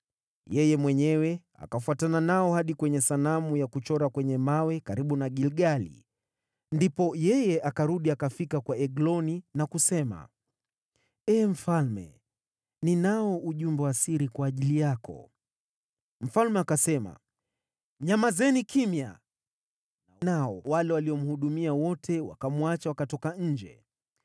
Yeye mwenyewe akafuatana nao hadi kwenye sanamu ya kuchora kwenye mawe karibu na Gilgali, ndipo yeye akarudi, akafika kwa Egloni na kusema, “Ee Mfalme, ninao ujumbe wa siri kwa ajili yako.” Mfalme akasema, “Nyamazeni kimya!” Nao wale waliomhudumia wote wakamwacha, wakatoka nje.